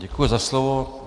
Děkuji za slovo.